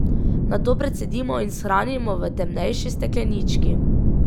Nato precedimo in shranimo v temnejši steklenički.